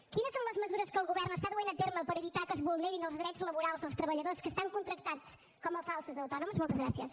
quines són les mesures que el govern està duent a terme per evitar que es vulnerin els drets laborals dels treballadors que estan contractats com a falsos autònoms moltes gràcies